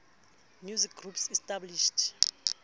musical groups established